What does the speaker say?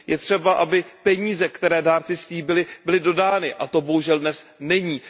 Je třeba, aby peníze, které dárci slíbili, byly dodány a to bohužel dnes není.